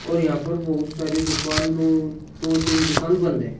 और यहां पर बहुत सारी दुकान दो दो तीन दुकान बंद है।